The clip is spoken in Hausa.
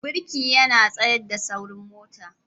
Birki yana tsayar da saurin mota.